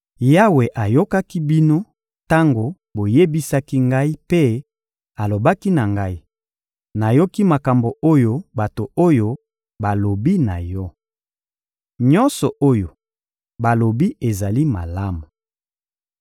Yawe ayokaki bino tango boyebisaki ngai mpe alobaki na ngai: «Nayoki makambo oyo bato oyo balobi na yo. Nyonso oyo balobi ezali malamu.